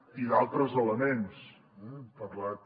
i d’altres elements eh he parlat